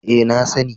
E, na sani.